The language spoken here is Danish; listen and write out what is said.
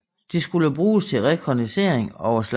De skulle bruges til rekognoscering over slagmarken